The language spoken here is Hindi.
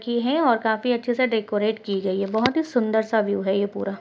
की है और काफी अच्छे से डेकोरेट की गयी हैं बोहोत ही सुन्दर सा व्यू है ये पूरा।